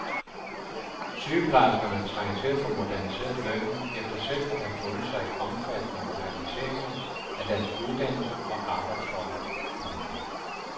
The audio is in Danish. Sygeplejerskerne trænger til at få moderniseret lønnen efter selv at have fundet sig i omfattende moderniseringer af deres uddannelse og arbejdsforhold. punktum